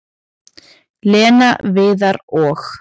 """Lena, Viðar og-"""